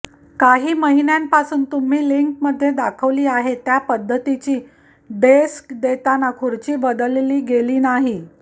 काही महिन्यांपासून तुम्ही लिंकमध्ये दाखवली आहे त्या पद्धतीची डेस्क देताना खुर्ची बदलली गेली नाही